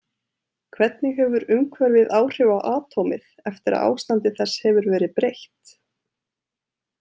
Hvernig hefur umhverfið áhrif á atómið eftir að ástandi þess hefur verið breytt?